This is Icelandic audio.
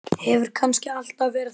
Hefur kannski alltaf verið þannig?